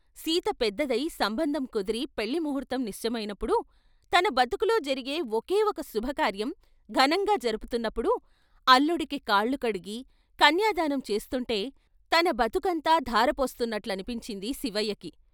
సీత పెద్దదయి సంబంధం కుదిరి పెళ్ళి ముహూర్తం నిశ్చయమైనప్పుడు, తన బతుకులో జరిగే ఒకే ఒక శుభకార్యం ఘనంగా జరుగుతున్నప్పుడు అల్లుడికి కాళ్ళు కడిగి కన్యాదానం చేస్తుంటే తన బతుకంతా ధారపోస్తున్నట్లని పించింది శివయ్యకి.